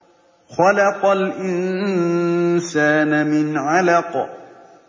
خَلَقَ الْإِنسَانَ مِنْ عَلَقٍ